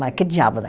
Mas que diabo, né?